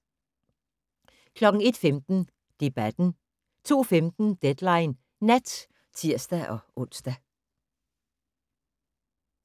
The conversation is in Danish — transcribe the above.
01:15: Debatten 02:15: Deadline Nat (tir-ons)